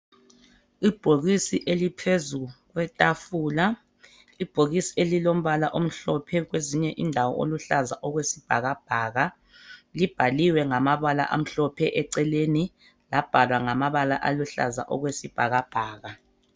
Ibhokisi eliphezulu kwethafula. Ibhokisi elilombala omhlophe kwezinye indawo oluluhlaza okwesbhakabhaka. Libhaliwe ngamabala amhlophe eceleni, lambalwa ngamabala aluhlaza okwesbhakabhaka.